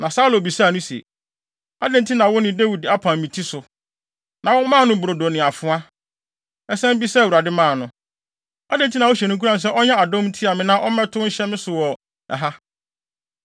Na Saulo bisaa no se, “Adɛn nti na wo ne Dawid apam me ti so, na womaa no brodo ne afoa, san bisaa Awurade maa no. Adɛn nti na wohyɛ no nkuran sɛ ɔnyɛ adɔm ntia me na ɔmmɛtow nhyɛ me so wɔ ha?”